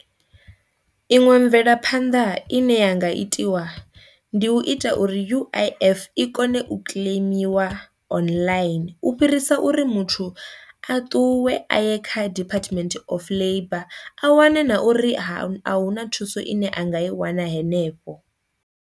Iṅwe mvelaphanḓa i ne ya nga itiwa ndi u ita uri U_I_F i kone u kiḽeimiwa online u fhirisa uri muthu a ṱuwe a ye kha Department of Labour a wane na uri ha a hu na thuso ine anga i wana henefho.